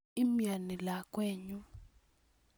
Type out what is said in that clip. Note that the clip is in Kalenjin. imiani lakwenyun